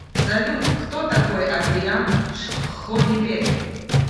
салют кто такой адриан шхонебек